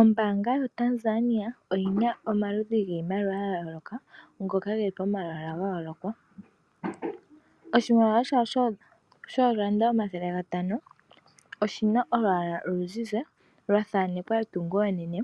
Ombaanga yaTanzania oyina iimaliwa ya yooloka momalwaala. Oshimaliwa shawo shoondola omathele gatano oshina olwaala oluzizi lwathanekwa etungo enene